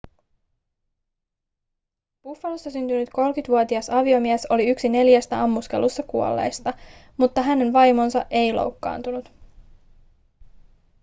buffalossa syntynyt 30-vuotias aviomies oli yksi neljästä ammuskelussa kuolleista mutta hänen vaimonsa ei loukkaantunut